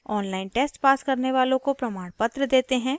online test pass करने वालों को प्रमाणपत्र देते हैं